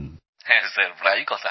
হ্যাঁ স্যার প্রায়ই কথা হয়